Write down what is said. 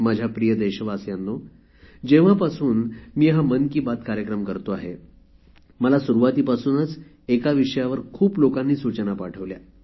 माझ्या प्रिय देशवासियांनो जेव्हापासून मी हा मन की बात कार्यक्रम करतो आहे मला सुरुवातीपासूनच एका विषयावर खूप लोकांनी सूचना पाठवल्या